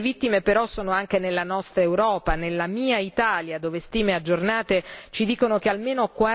Le vittime però sono anche nella nostra Europa, nella mia Italia, dove stime aggiornate ci dicono che almeno